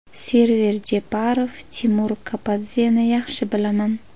Server Jeparov: Timur Kapadzeni yaxshi bilaman.